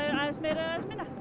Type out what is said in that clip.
aðeins meira